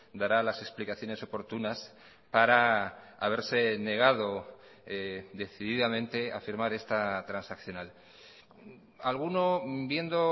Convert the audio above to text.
dará las explicaciones oportunas para haberse negado decididamente a firmar esta transaccional alguno viendo